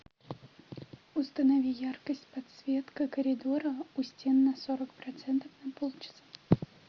установи яркость подсветка коридора у стен на сорок процентов на полчаса